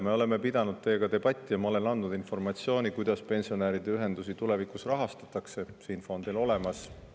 Me oleme pidanud teiega debatti ja ma olen andnud informatsiooni, kuidas pensionäride ühendusi tulevikus rahastatakse, see info on teil olemas.